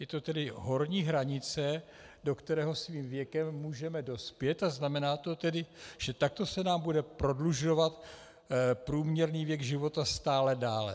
Je to tedy horní hranice, do které svým věkem můžeme dospět, a znamená to tedy, že takto se nám bude prodlužovat průměrný věk života stále dále.